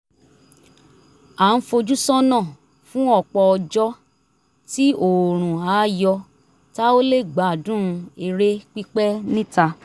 a ń fojú sọ́nà fún ọ̀pọ̀ ọjọ́ tí oòrùn á yọ tá ó lè gbádùn eré pípẹ́ níta